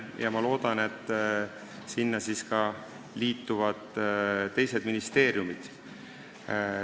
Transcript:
Ja ma loodan, et siis liituvad ka teised ministeeriumid.